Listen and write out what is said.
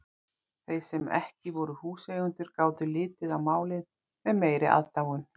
Þeir sem ekki voru húseigendur gátu litið á málið með meiri aðdáun.